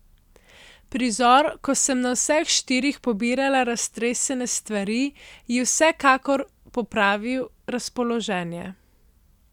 Prizor, ko sem na vseh štirih pobirala raztresene stvari, ji je vsekakor popravil razpoloženje.